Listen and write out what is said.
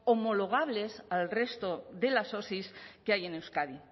homologables al resto de las osi que hay en euskadi